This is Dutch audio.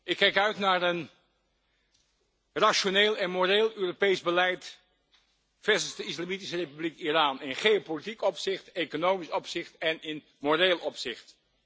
Ik kijk uit naar een rationeel en moreel Europees beleid versus de Islamitische Republiek Iran in geopolitiek opzicht, economisch opzicht en in moreel opzicht.